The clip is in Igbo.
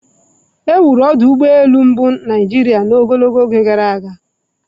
Ewuru ọdụ ụgbọ elu mbụ na Naijiria ogologo oge gara aga